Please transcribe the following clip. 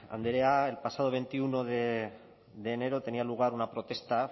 andrea el pasado veintiuno de enero tenía lugar una protesta